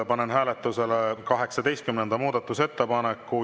Panen hääletusele 18. muudatusettepaneku.